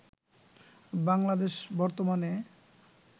বাংলাদেশে বর্তমানে